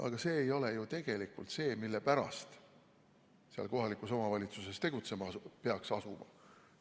Aga see ei ole ju tegelikult see, mille pärast seal kohalikus omavalitsuses tegutsema peaks asuma.